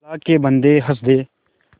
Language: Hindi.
अल्लाह के बन्दे हंस दे